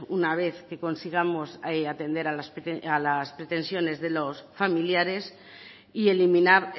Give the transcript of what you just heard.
una vez que consigamos atender a las pretensiones de los familiares y eliminar